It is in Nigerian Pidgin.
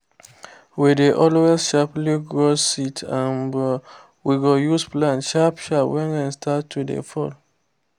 we dey always sharply grow seeds um wey we go use plant sharp sharp when rain start to dey fall